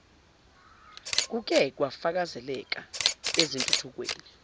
kuke kwafakazeleka ezintuthukweni